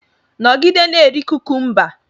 Nọgide na-eri kukumba!